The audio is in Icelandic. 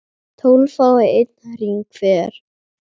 tólf fái einn hring hver